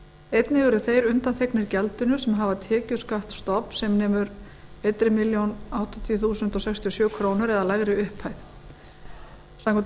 einnig eru þeir undanþegnir gjaldinu sem hafa tekjuskatt stofn sem nemur einni milljón áttatíu þúsund sextíu og sjö krónur eða lægri upphæð samkvæmt